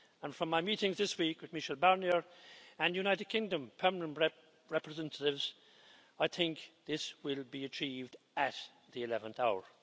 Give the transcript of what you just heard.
From my meetings this week with Michel Barnier and United Kingdom Permanent Representatives, I think this will be achieved at the 11th hour.